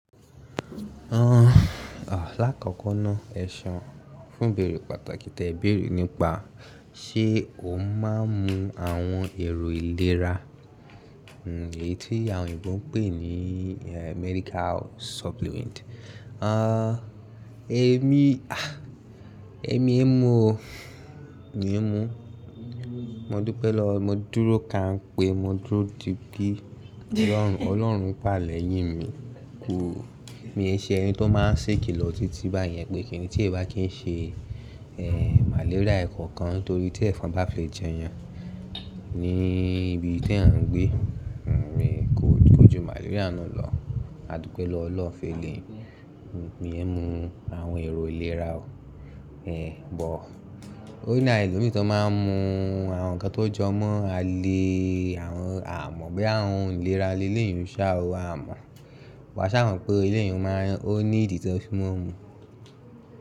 Lákòókò náà ẹ̀seun fún bèrè pàtàkì tẹ bèrè nípa ṣé o máa ń mu àwọn èrò ìlera, èyí tí àwọn òyìnbó ń pè ní medical supplement. Èmi, à, èmi ò mú o, mi ò mú. Mo dúpẹ́ lọ, mo dúró ká ń pé, mo dúró di gbí Ọlọ́run, Ọlọ́run pàlẹ́ yín mi. Kù, mi e ṣe ẹni tó máa ń ṣèkìlọ̀ títí báyẹn pé kíni tí ẹ bá kí ń ṣe, màléríà ẹ̀kọ̀ọ̀kan torí tí ẹ̀fọn bá fẹ́ jẹ yan. Ni ibi tí à ń gbé, mi kò jó màléríà náà lọ. Adúpẹ́ lọwo Ọlọ́run fi lè, mi e mú àwọn èrò ìlera o. But Ó ní awon elomi tó máa ń mu àwọn nǹkan tó jọmọ́, a lè àwọn a mọ̀ bí àwọn ìlera ilé ìyàn sa o, a mọ̀. Wa ṣà mọ̀ pé ilé ìyàn máa ń, ó ní ìdí tí wọn mú.